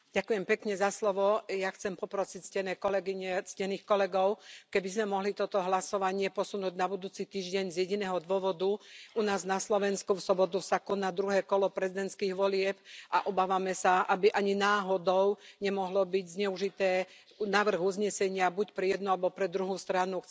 Vážený pán predsedajúci. Ja chcem poprosiť ctené kolegyne, ctených kolegov, keby sme mohli toto hlasovanie posunúť na budúci týždeň, z jediného dôvodu. U nás na Slovensku sa v sobotu koná druhé kolo prezidentských volieb a obávame sa, aby ani náhodou nemohol byť návrh uznesenia zneužitý buď pre jednu alebo pre druhú stranu.